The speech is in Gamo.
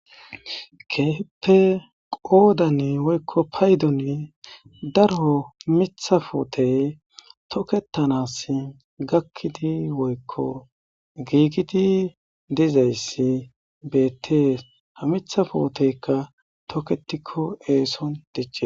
Keehippe paydon woyko qoddan daro mitha puutey toketanas gakidi woyko giigid dizaysi betes, ha mitha puuteyka toketiko eeson dici